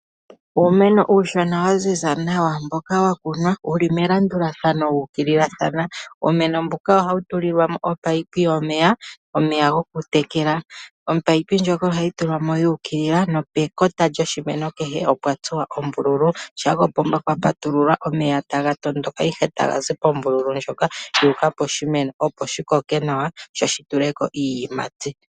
Uumeno uushona wa ziza nawa mboka wa kunwa wuli melandulathano wuukililathana. Uumeno mbuka ohawu tulilwa mo omunino gomeya gokutekela. Omunino ohagu tulwamo guukilila nopekota lyoshimeno kehe opwa tsuwa ombululu shampa kopomba kwa patululwa omeya taga tondoka ihe taga zi pombululu ndjoka guuka poshimeno opo shi koke nawa sho shi tuleko iiyimati.